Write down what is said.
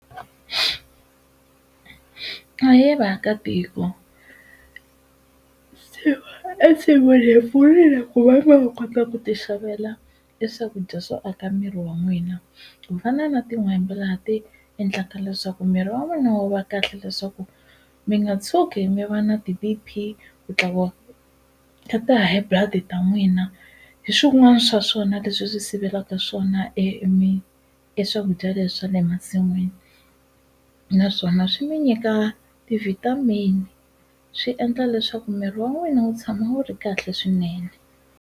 Ahe vaakatiko ensin'wini hi pfulile ku va ma ha kota ku ti xavela e swakudya swo aka miri wa n'wina ku fana na tin'hwembe laha ti endlaka leswaku miri wa n'wina wu va kahle leswaku mi nga tshuki mi va na ti-B_P ku tlakuka ka ti-high blood ta n'wina hi swin'wana swa swona leswi swi sivelaka swona e e swakudya leswi swa le masin'wini naswona swi mi nyika ti-vitamin swi endla leswaku miri wa n'wina wu tshama wu ri kahle swinene.